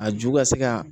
A ju ka se ka